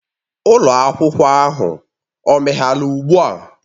Ụlọ akwụkwọ ahụ o meghela ugbu a?